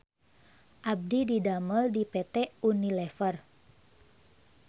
Abdi didamel di PT UNILEVER